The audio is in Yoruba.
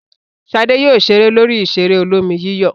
Ṣadé yóò ṣeré lórí ìṣeré olómi-yíyọ̀.